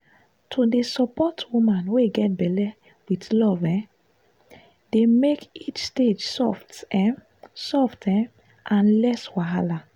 to dey support woman wey get belle with love e dey make each stage soft um soft um and less wahala.